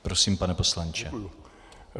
Prosím, pane poslanče.